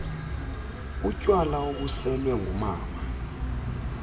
utywala obuselwe ngumama